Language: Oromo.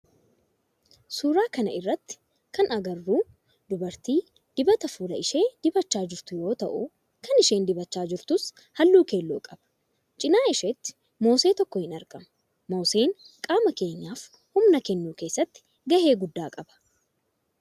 Suuraa kana irratti kan agarru dubartii dibata fuula ishee dibachaa jirtu yoo ta'u kan isheen dibachaa jirtus halluu keelloo qaba. Cinaa isheetti moosee tokkoo ni argama. Mooseen qaama keenyaf humna kennuu keessatti gahe guddaa qaba.